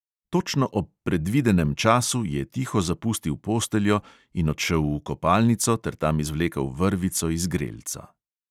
Točno ob predvidenem času je tiho zapustil posteljo in odšel v kopalnico ter tam izvlekel vrvico iz grelca.